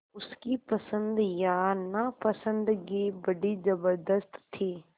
उसकी पसंद या नापसंदगी बड़ी ज़बरदस्त थी